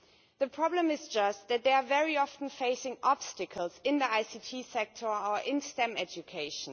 The problem is just that they very often face obstacles in the ICT sector or in STEM education.